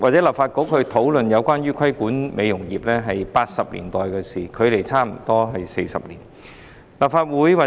立法局討論規管美容業，已是1980年代的事，距今差不多40年。